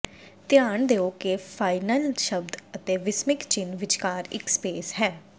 ਧਿਆਨ ਦਿਓ ਕਿ ਫਾਈਨਲ ਸ਼ਬਦ ਅਤੇ ਵਿਸਮਿਕ ਚਿੰਨ੍ਹ ਵਿਚਕਾਰ ਇੱਕ ਸਪੇਸ ਹੈ